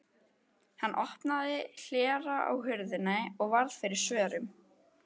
Hann opnaði hlera á hurðinni og varð fyrir svörum.